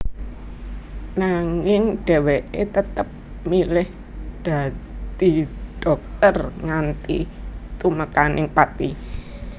Nanging dheweke tetep milih dadi dhokter nganti tumekaning pati